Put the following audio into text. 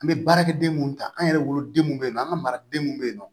An bɛ baarakɛden mun ta an yɛrɛ wolodenw bɛ yen nɔ an ka maradenw bɛ yen nɔ